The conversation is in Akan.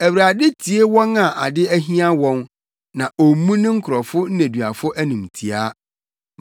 Awurade tie wɔn a ade ahia wɔn, na ommu ne nkurɔfo nneduafo animtiaa.